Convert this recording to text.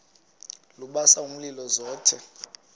lubasa umlilo zothe